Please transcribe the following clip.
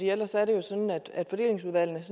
ellers er det jo sådan at fordelingsudvalgene